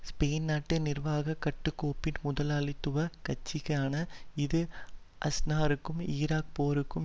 Spain நாட்டு நிர்வாக கட்டுக்கோப்பின் முதலாளித்துவ கட்சியான இது அஸ்னருக்கும் ஈராக் போருக்கும்